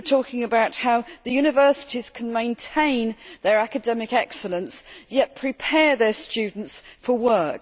We are talking about how the universities can maintain their academic excellence, yet prepare their students for work.